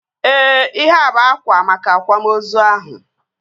Ee, ihea bụ akwa maka akwamozu ahụ